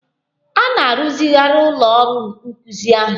A na-arụzigharị ụlọ ọrụ nkuzi ahụ.